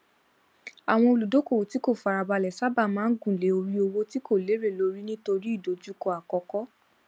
àwọn olùdókòwò tí kò farabalẹ sáábà máa ń gùn lé orí owó tí kò lérè lórí nítorí ìdojúkọ àkókò